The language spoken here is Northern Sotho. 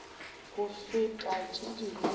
go feta tše dingwe ka